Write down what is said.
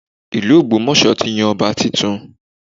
Ìlú Ogbomoso ti yan ọba tuntun